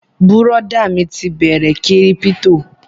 Bùrọ̀dá mi ti bẹ̀rẹ kírípítò